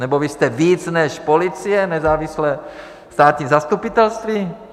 Nebo vy jste víc než policie, nezávislé státní zastupitelství?